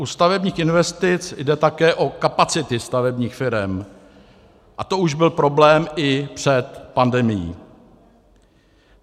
U stavebních investic jde také o kapacity stavebních firem a to už byl problém i před pandemií.